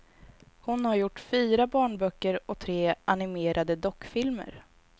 Hon har gjort fyra barnböcker och tre animerade dockfilmer.